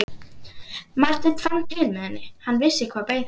Marteinn fann til með henni, hann vissi hvað beið hennar.